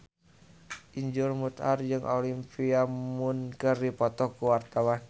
Iszur Muchtar jeung Olivia Munn keur dipoto ku wartawan